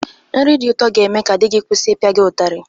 Nri dị ụtọ ga-eme ka di gị kwụsi ịpịa gị ụtarị.